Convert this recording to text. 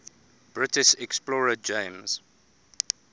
british explorer james